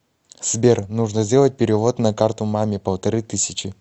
сбер нужно сделать перевод на карту маме полторы тысячи